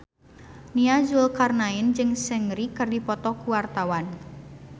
Nia Zulkarnaen jeung Seungri keur dipoto ku wartawan